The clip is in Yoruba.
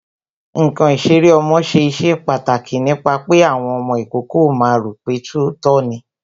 Ǹkan ìṣeré ọmọ ṣe iṣẹ́ pàtàkì nípa pé àwọn ọmọ ìkókó ó máa ro pe tòótọ́ ni